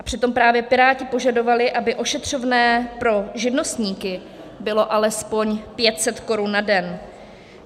A přitom právě Piráti požadovali, aby ošetřovné pro živnostníky bylo alespoň 500 korun na den.